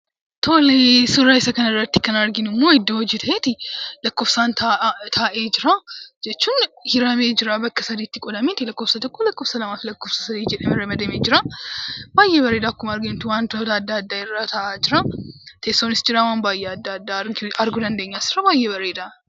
Tolee; suuraa isaa kana irratti immoo kan nuti arginuu, iddoo hojii ta'ee laakkoofsaan ta'e jira (hiramee jira);bakkoota saditti qoodame laakkofsaa tokko, lamafi sadii jedhee rammadame jira. Baay'ee bareedaa, waantootni adda addaas irra ta'a jira. As irra waan baay'ee arguu dandeenyaa.